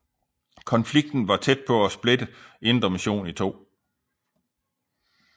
Konflikten var tæt på at splitte Indre Mission i to